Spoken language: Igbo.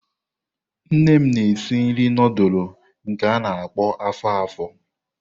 Nne m na-esi nri nudulu nke a-na akpo afo-afo.